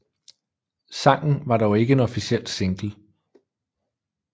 Sangen var dog ikke en officiel single